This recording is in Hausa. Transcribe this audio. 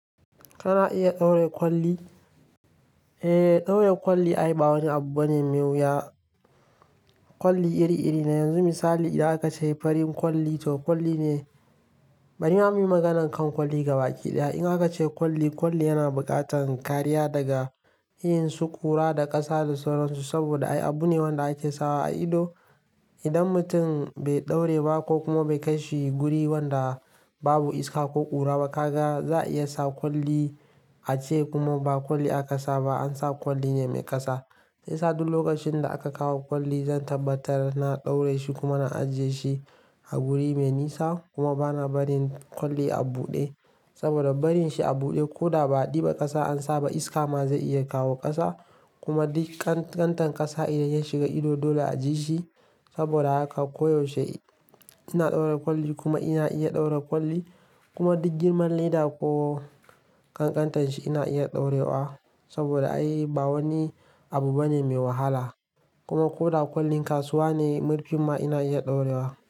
Kana iya ɗaure kwalli? Eh, ɗaure kwalli ai ba wani abu bane mai wuya. Kwalli iri-iri ne yanzu. Misali idan aka ce farin kwalli to kwalli ne. Bani gama magana kan kwalli gaba ɗaya. In aka ce kwalli, kwalli yana buƙatar kariya daga yin su ƙura da ƙasa da sauransu saboda ai abu ne wanda ake sawa a ido. Idan mutum bai ɗaure ba ko kuma bai kai shi guri wanda babu iska ko ƙura ba, ka ga za a iya sa kwalli a ce kuma ba kwalli aka sa ba, an sa kwalli ne mai ƙasa. Sai yasa duk lokacin da aka kawo kwalli, zan tabbatar na ɗaure shi kuma na ajiye shi a guri mai nisa kuma bana barin kwalli a buɗe saboda barin shi a buɗe ko da ba a ɗiba ƙasa an sa ba, iska ma zai iya kawo ƙasa kuma duk ƙanƙantan ƙasa idan ya shiga ido dole a ji shi. Saboda haka koyaushe ina ɗaure kwalli kuma ina iya ɗaure kwalli kuma duk girman leda ko ƙanƙantanshi ina iya ɗaurewa saboda ai ba wani abu bane mai wahala. Kuma ko da kwallin kasuwa ne, murfi ma ina iya ɗaurewa.